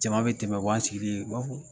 Jama bɛ tɛmɛ u b'an sigilen u b'a fɔ